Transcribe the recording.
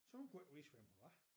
Så hun kunne ikke vise hvem hun var